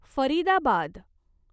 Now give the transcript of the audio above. Faridabad